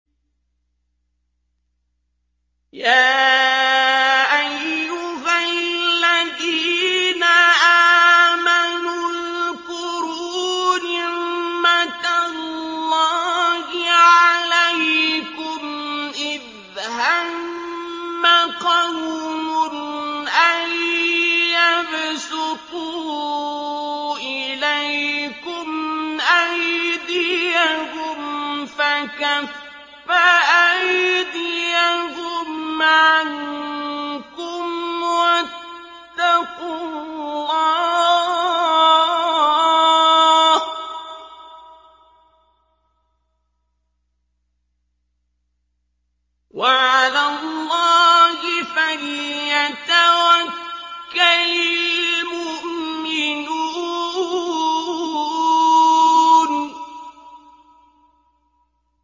يَا أَيُّهَا الَّذِينَ آمَنُوا اذْكُرُوا نِعْمَتَ اللَّهِ عَلَيْكُمْ إِذْ هَمَّ قَوْمٌ أَن يَبْسُطُوا إِلَيْكُمْ أَيْدِيَهُمْ فَكَفَّ أَيْدِيَهُمْ عَنكُمْ ۖ وَاتَّقُوا اللَّهَ ۚ وَعَلَى اللَّهِ فَلْيَتَوَكَّلِ الْمُؤْمِنُونَ